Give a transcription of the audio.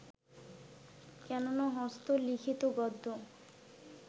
কেন না হস্ত-লিখিত গদ্য